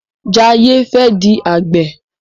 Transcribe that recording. Jaye fè di Àgbẹ̀.